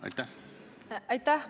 Aitäh!